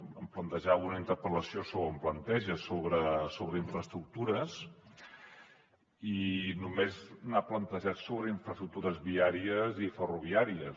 em plantejava o em planteja una interpel·lació sobre infraestructures i només n’ha plantejat sobre infraestructures viàries i ferroviàries